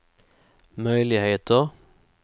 möjligheter